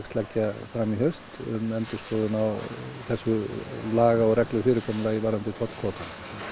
leggja fram í haust um endurskoðun á þessu laga og reglu fyrirkomulagi varðandi tollkvótana